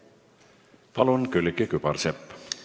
Palun, Külliki Kübarsepp!